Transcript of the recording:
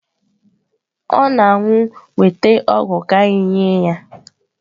Ọ na-anwụ weta ọgwụ ka anyị nye ya.